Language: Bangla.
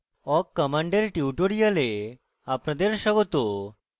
awk command tutorial আপনাদের স্বাগত